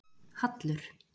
Hallur